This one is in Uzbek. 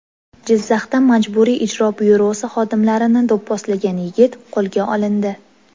Jizzaxda Majburiy ijro byurosi xodimlarini do‘pposlagan yigit qo‘lga olindi.